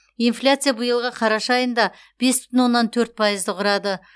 инфляция биылғы қарашада айында бес бүтін оннан төрт пайызды құрады